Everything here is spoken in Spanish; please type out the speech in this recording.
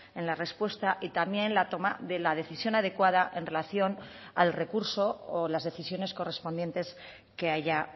en la respuesta y también la toma de la decisión adecuada en relación al recurso o las decisiones correspondientes que haya